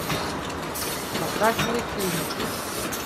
показывай клиника